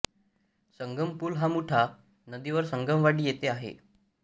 संगम पूल हा मुठा नदीवर संगमवाडी येथे आहे